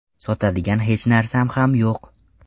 Sotadigan hech narsam ham yo‘q.